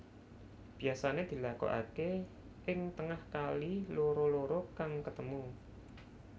Biasané dilakokaké ing tengah kali loro loro kang ketemu